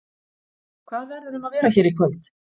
Hvað verður um að vera hér í kvöld?